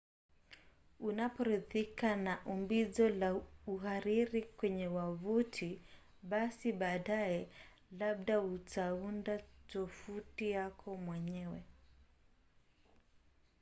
unaporidhika na umbizo na uhariri kwenye wavuti basi baadaye labda utaunda tovuti yako mwenyewe